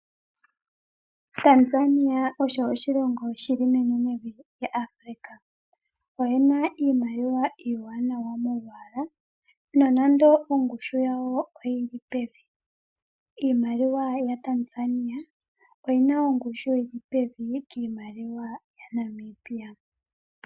Tanzania osho oshilongo shili menenevi lyaAfrica, oye na iimaliwa iiwanawa molwaala nonando ongushu yawo oyili pevi. Iimaliwa yaTanzania oyina ongushu yili pevi kiimaliwa yaNamibia.